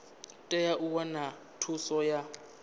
tea u wana thuso ya